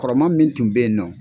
Kɔrɔma min tun bɛyinɔ.